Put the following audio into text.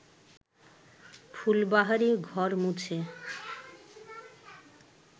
ফুলবাহারি ঘর মুছে